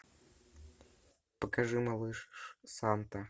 покажи малыш санта